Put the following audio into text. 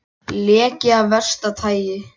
Leki af versta tagi